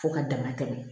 Fo ka dama tɛmɛ